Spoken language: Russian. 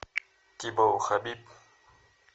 тибау хабиб